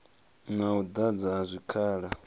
na u ḓadzwa ha zwikhala